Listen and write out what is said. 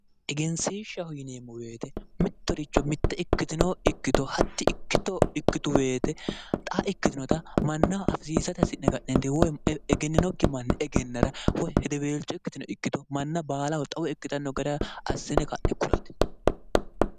Egenshishshaho yineemmo woyte mitoricho mitto ikkitto hati ikkittu woyite xa ikkitinotta mannaho afisiisate hasi'ne ka'nenitinni egeninokki mannira woyi hedeweelcho ikkitino ikkitto manna baalaho xawo ikkittano gara assine ka'ne kulate.